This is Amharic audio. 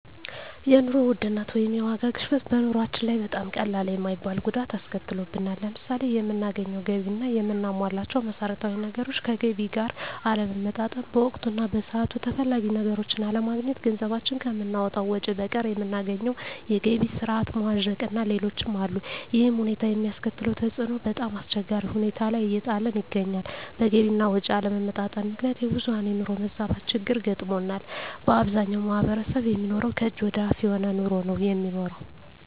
የኑሮ ውድነት ወይም የዋጋ ግሽበት በኑሮአችን ላይ በጣም ቀላል የማይባል ጉዳት አስከትሎብናል። ለምሳሌ የምናገኘው ገቢ እና የምናሟላቸው መሠረታዊ ነገሮች ከገቢ ጋር አለመመጣጠን፣ በወቅቱ እና በሰዓቱ ተፈላጊ ነገሮችን አለማግኘት፣ ገንዘባችን ከምናወጣው ወጭ በቀር የምናገኘው የገቢ ስረዓት መዋዠቅእና ሌሎችም አሉ። ይሕም ሁኔታ የሚያስከትለው ተፅዕኖ በጣምአስቸጋሪ ሁኔታ ላይ እየጣለን ይገኛል። በገቢ አና ወጭ አለመመጣጠን ምክንያት የብዙሀን የኑሮ መዛባት ችግር ገጥሞናል። በአብዛኛው ማሕበረሰብ የሚኖረው ከእጅ ወደ አፍ የሆነ ኑሮ ነው የሚኖረው።